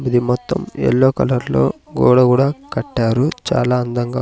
ఇది మొత్తం ఎల్లో కలర్లో గోడ గుడా కట్టారు చాలా అందంగా--